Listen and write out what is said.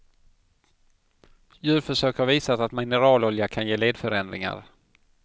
Djurförsök har visat att mineralolja kan ge ledförändringar.